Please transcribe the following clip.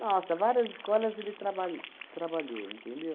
Nossa, várias escolas ele trabalh trabalhou, entendeu?